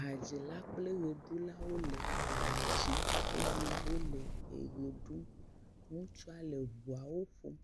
Hadzila kple ʋeɖulawo le ha dzim eye wole ʋe ɖum. Ŋutsu le ŋuwo ƒom